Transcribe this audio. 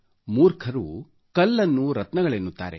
ಮೂರ್ಖರು ಕಲ್ಲನ್ನು ರತ್ನಗಳೆನ್ನುತ್ತಾರೆ